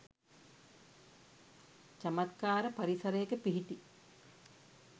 චමත්කාර පරිසරයක පිහිටි